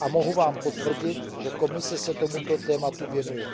a mohu vám potvrdit, že Komise se tomuto tématu věnuje.